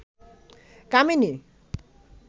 কামিনী